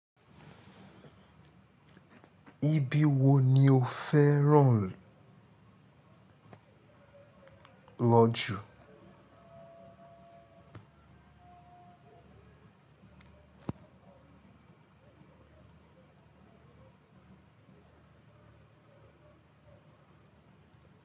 Ibi wo ni o fẹ́ ràn lọ jù?